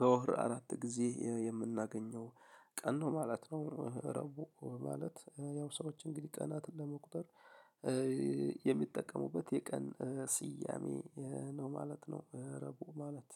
በወር አራት ጊዜ የምናገኘው ቀን ነው ማለት ነው። ረቡዕ ማለት ያው ሰዎች እንግዲህ ቀናትን ለመቁጠር የሚጠቀሙበት የቀን ስያሜ ነው ማለት ነው ረቡዕ ማለት።